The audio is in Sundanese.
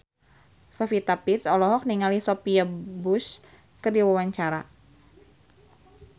Pevita Pearce olohok ningali Sophia Bush keur diwawancara